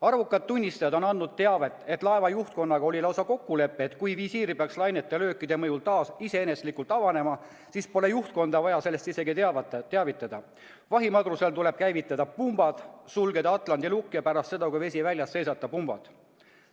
Arvukad tunnistajad on andnud teavet, et laeva juhtkonnaga oli lausa kokkulepe, et kui visiir peaks lainete löökide mõjul taas iseeneslikult avanema, siis pole juhtkonda vaja sellest isegi teavitada, vahimadrusel tuleb käivitada pumbad, sulgeda atlandi lukk ja pärast seda, kui vesi väljas, seisata pumbad.